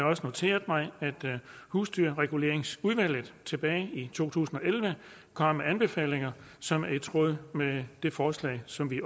også noteret mig at husdyrreguleringsudvalget tilbage i to tusind og elleve kom med anbefalinger som er i tråd med det forslag som vi